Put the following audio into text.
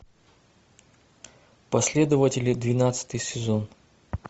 последователи двенадцатый сезон